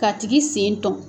K'a tigi sen tɔn.